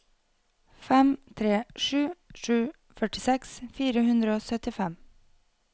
fem tre sju sju førtiseks fire hundre og syttifem